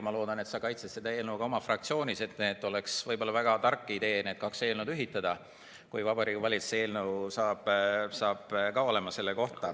Ma loodan, et sa kaitsed seda oma fraktsioonis, et oleks võib-olla väga tark idee need kaks eelnõu ühitada, kui ka Vabariigi Valitsuse eelnõu saab selle kohta olema.